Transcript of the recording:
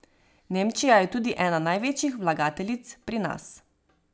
Nemčija je tudi ena največjih vlagateljic pri nas.